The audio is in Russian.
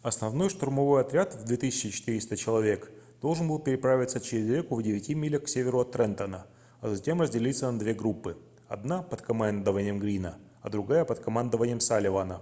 основной штурмовой отряд в 2400 человек должен был переправиться через реку в девяти милях к северу от трентона а затем разделиться на две группы одна под командованием грина а другая под командованием салливана